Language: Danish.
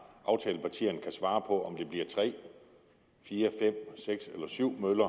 aftalepartierne kan svare på om det bliver tre fire fem seks eller syv